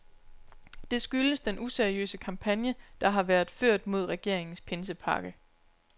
Det skyldes den useriøse kampagne, der har været ført mod regeringens pinsepakke.